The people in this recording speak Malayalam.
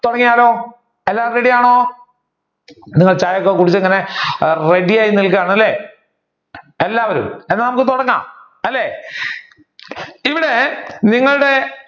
തുടങ്ങിയാലോ എല്ലാവരും ready ആണോ നിങ്ങൾ ചായ ഒക്കെ കുടിച്ചു ഇങ്ങനെ ready അല്ലെ എല്ലാവരും അന്ന നമുക്ക് തുടങ്ങാം അല്ലെ ഇവിടെ നിങ്ങളുടെ